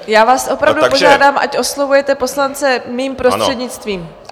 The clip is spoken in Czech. Já vás opravdu požádám, ať oslovujete poslance mým prostřednictvím!